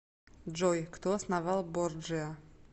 джой кто основал борджиа